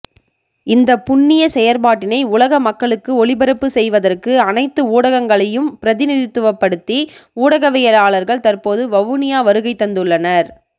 இந்த புண்ணிய செயற்பாட்டினை உலக மக்களுக்கு ஒளிபரப்பு செய்வதற்கு அனைத்து ஊடகங்களையும் பிரதிநிதித்துவப்படுத்தி ஊடகவியலாளர்கள் தற்போது வவுனியா வருகைதந்துள்ளனர்